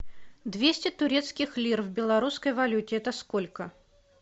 двести турецких лир в белорусской валюте это сколько